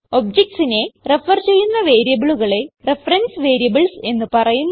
objectsനെ refer ചെയ്യുന്ന വേരിയബിളുകളെ reference variables എന്ന് പറയുന്നു